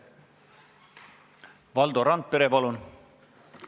Valdo Randpere, palun!